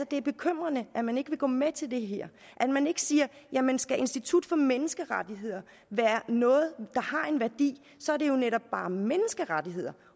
det er bekymrende at man ikke vil gå med til det her at man ikke siger jamen skal institut for menneskerettigheder være noget der har en værdi så er det jo netop bare menneskerettigheder